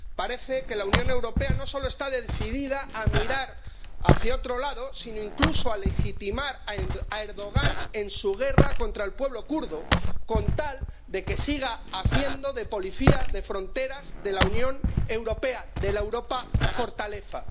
Parece que la Unión Europea no solo está decidida a mirar hacia otro lado, sino, incluso, a legitimar a Erdogan en su guerra contra el pueblo kurdo, con tal de que siga haciendo de policía de fronteras de la Unión Europea, de la Europa fortaleza.